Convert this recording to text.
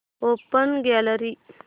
open gallery